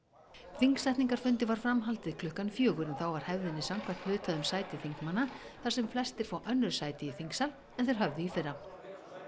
þingsetningarfundi var framhaldið klukkan fjögur þá var hefðinni samkvæmt hlutað um sæti þingmanna þar sem flestir fá önnur sæti í þingsal en þeir höfðu í fyrra